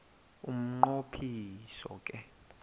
umnqo phiso ke